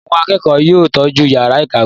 Àwọn akẹ́kọ̀ọ́ yóò tọ́jú ìyàrá-ìkàwé!